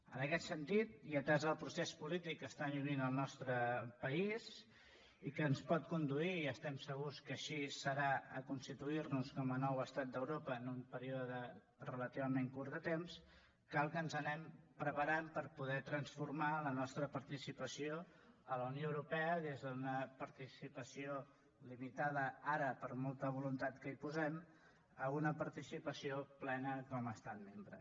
en aquest sentit i atès el procés polític que està vivint el nostre país i que ens pot conduir i estem segurs que així serà a constituir nos com a nou estat d’europa en un període relativament curt de temps cal que ens anem preparant per poder transformar la nostra participació a la unió europea des d’una participació limitada ara per molta voluntat que hi posem a una participació plena com a estat membre